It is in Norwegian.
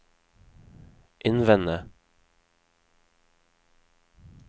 innvende